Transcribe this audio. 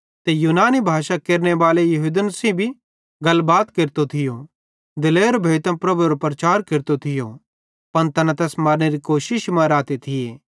ते यूनानी भाषा केरनेबाले यहूदन सेइं भी गलबात केरतो थियो दिलेर भोइतां प्रभुएरो प्रचार केरतो थियो पन तैना तैस मारनेरी कोशिश मां रहते थी